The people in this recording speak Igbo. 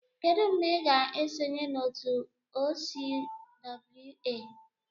Kedu mgbe ị ga-esonye na otu OCWA?